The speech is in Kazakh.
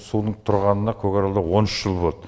судың тұрғанына көкаралда он үш жыл болды